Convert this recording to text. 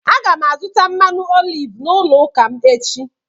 Aga m azụta mmanụ oliv n’ụlọ ụka m echi.